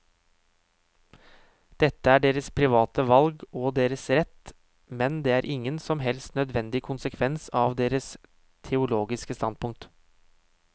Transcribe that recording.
Dette er deres private valg og deres rett, men det er ingen som helst nødvendig konsekvens av deres teologiske standpunkt.